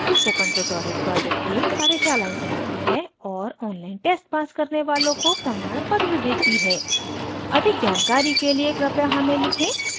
spoken tutorial project team कार्यशालाएं चलाती है और online test pass करने वालों को प्रमाणपत्र देती है अधिक जानकारी के लिए कृपया हमें लिखें